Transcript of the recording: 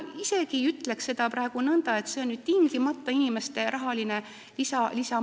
Ma isegi ei ütleks praegu, et see oleks tingimata inimestele rahaline lisamakse.